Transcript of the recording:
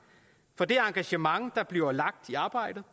for det engagement der bliver lagt i arbejdet